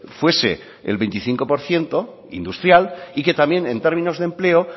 fuese el veinticinco por ciento industrial y que también en términos de empleo